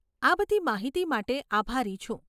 આ બધી માહિતી માટે આભારી છું.